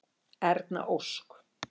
Erna Ósk.